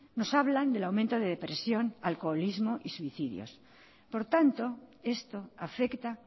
nos hablan del aumento de depresión alcoholismo y suicidios por tanto esto afecta